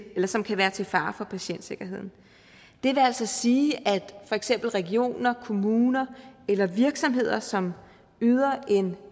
som kan være til fare for patientsikkerheden det vil altså sige at for eksempel regioner kommuner eller virksomheder som yder en